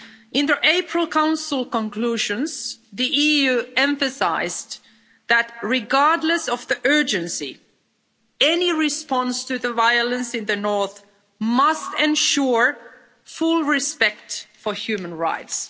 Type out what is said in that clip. In the April Council conclusions, the EU emphasised that, regardless of the urgency, any response to the violence in the north must ensure full respect for human rights.